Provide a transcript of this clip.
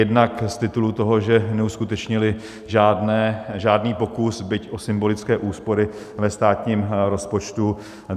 Jednak z titulu toho, že neuskutečnili žádný pokus byť o symbolické úspory ve státními rozpočtu.